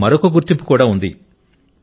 అతనికి మరొక గుర్తింపు కూడా ఉంది